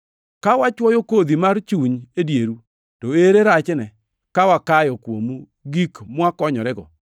Ka wachwoyo kodhi mar chuny e dieru, to ere rachne ka wakayo kuomu gik mwakonyorego?